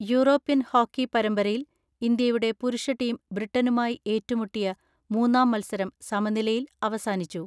European hockey പരമ്പരയിൽ ഇന്ത്യയുടെ പുരുഷ ടീം ബ്രിട്ടനുമായി ഏറ്റുമുട്ടിയ മൂന്നാം മൽസരം സമനിലയിൽ അവസാനിച്ചു.